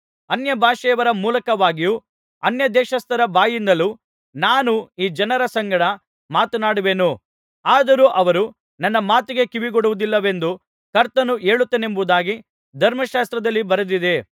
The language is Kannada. ಅನ್ಯಭಾಷೆಯವರ ಮೂಲಕವಾಗಿಯೂ ಅನ್ಯದೇಶಸ್ಥರ ಬಾಯಿಂದಲೂ ನಾನು ಈ ಜನರ ಸಂಗಡ ಮಾತನಾಡುವೆನು ಆದರೂ ಅವರು ನನ್ನ ಮಾತಿಗೆ ಕಿವಿಗೊಡುವುದಿಲ್ಲವೆಂದು ಕರ್ತನು ಹೇಳುತ್ತಾನೆಂಬುದಾಗಿ ಧರ್ಮಶಾಸ್ತ್ರದಲ್ಲಿ ಬರೆದಿದೆ